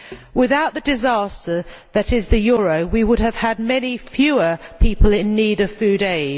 Without the disaster that is the euro we would have had many fewer people in need of food aid.